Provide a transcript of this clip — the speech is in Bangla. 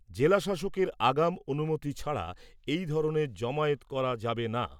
জেলাশাসকের আগাম অনুমতি ছাড়া এ ধরনের জমায়েত করা যাবে না ।